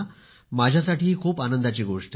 माझ्यासाठी ही खूप आनंदाची गोष्ट आहे